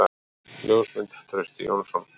Ljósmynd: Trausti Jónsson.